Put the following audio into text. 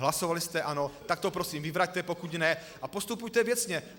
Hlasovali jste, ano, tak to prosím vyvraťte, pokud ne, a postupujte věcně.